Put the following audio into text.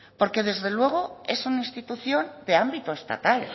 porque desde luego es una institución de ámbito estatal